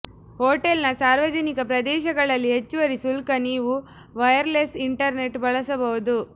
ಹೋಟೆಲ್ನ ಸಾರ್ವಜನಿಕ ಪ್ರದೇಶಗಳಲ್ಲಿ ಹೆಚ್ಚುವರಿ ಶುಲ್ಕ ನೀವು ವೈರ್ಲೆಸ್ ಇಂಟರ್ನೆಟ್ ಬಳಸಬಹುದು